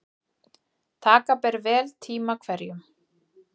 Taka ber vel tíma hverjum.